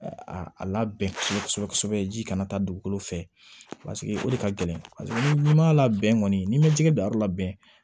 A labɛn kosɛbɛ kosɛbɛ ji kana taa dugukolo fɛ paseke o de ka gɛlɛn paseke ni ma labɛn kɔni n'i ma jɛgɛ bila yɔrɔ labɛn